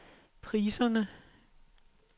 priserne